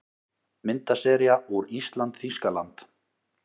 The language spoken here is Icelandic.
Myndasería úr ÍSLAND- Þýskaland